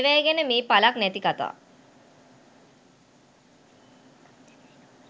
අයවැය ගැන මේ ඵලක් නැති කතා